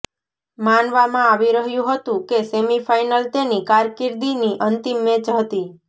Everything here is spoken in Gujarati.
માનવામાં આવી રહ્યું હતું કે સેમીફાઇનલ તેની કારકિર્દીની અંતિમ મેચ હતી